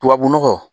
Tubabu nɔgɔ